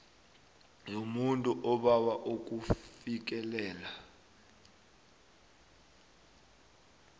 yomuntu obawa ukufikelela